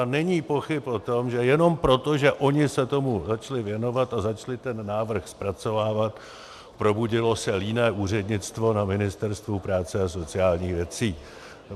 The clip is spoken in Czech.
A není pochyb o tom, že jenom proto, že oni se tomu začali věnovat a začali ten návrh zpracovávat, probudilo se líné úřednictvo na Ministerstvu práce a sociálních věcí.